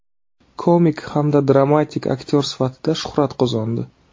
Komik hamda dramatik aktyor sifatida shuhrat qozondi.